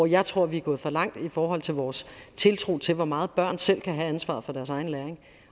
jeg tror vi er gået for langt i forhold til vores tiltro til hvor meget børn selv kan have ansvaret for deres egen læring